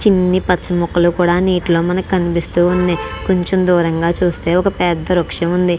చిన్ని పచ్చని మొక్కలు కూడ నీటిలో మనకి కనిపిస్తూ వుంది కొంచెం దూరంగ చుస్తే ఒక పెద్ద వృక్ష్యం వుంది.